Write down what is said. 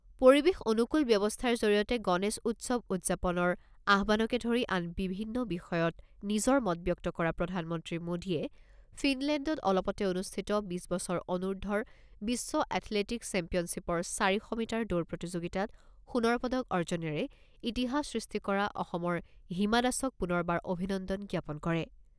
পৰিৱেশ অনুকূল ব্যৱস্থাৰ জৰিয়তে গণেশ উৎসৱ উদযাপনৰ আহ্বানকে ধৰি আন বিভিন্ন বিষয়ত নিজৰ মত ব্যক্ত কৰা প্ৰধানমন্ত্ৰী মোদীয়ে ফিনলেণ্ডত অলপতে অনুষ্ঠিত বিছ বছৰ অনুৰ্ধৰ বিশ্ব এথলেটিকছ চেম্পিয়নশ্বিপৰ চাৰি শ মিটাৰ দৌৰ প্ৰতিযোগিতাত সোণৰ পদক অৰ্জনেৰে ইতিহাস সৃষ্টি কৰা অসমৰ হিমা দাসক পুনৰবাৰ অভিনন্দন জ্ঞাপন কৰে।